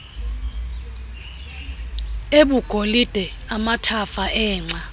abugolide amathafa engca